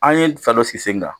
An ye fɛɛrɛ dɔ sigi sen kan